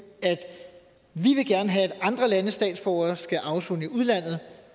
have at andre landes statsborgere skal afsone i udlandet